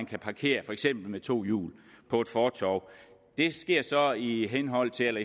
kan parkeres med to hjul på et fortov det sker så i henhold til